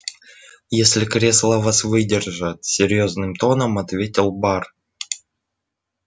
если кресла вас выдержат серьёзным тоном ответил бар